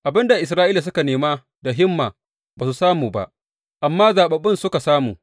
Abin da Isra’ila suka nema da himma ba su samu ba, amma zaɓaɓɓun suka samu.